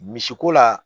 Misiko la